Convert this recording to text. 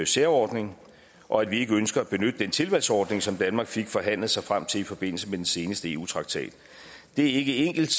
særordning og at vi ikke ønsker at benytte den tilvalgsordning som danmark fik forhandlet sig frem til i forbindelse med den seneste eu traktat det er ikke enkelt